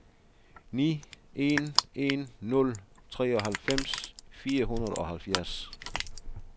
ni en en nul treoghalvfems fire hundrede og halvfjerds